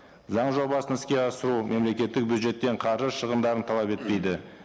заң жобасын іске асыру мемлекеттік бюджеттен қаржы шығымдарын талап етпейді